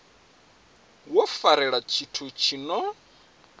wo farelela tshithu tshi no